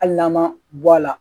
Hali n'an ma bɔ a la